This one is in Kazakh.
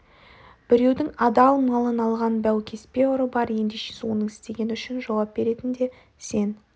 біреудің адал малын алған баукеспе ұры бар ендеше оның істегені үшін жауап беретін де сен